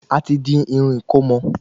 A ti di Irún ìkómọ